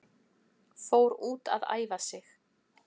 Fór út að æfa sig